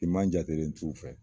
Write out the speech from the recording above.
Fiman jate len t'u fɛ